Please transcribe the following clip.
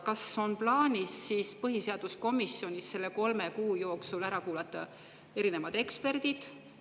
Kas on plaanis põhiseaduskomisjonis kolme kuu jooksul ära kuulata erinevad eksperdid?